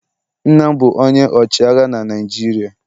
Nna m bụ onye ọchịagha na Naịjirịa.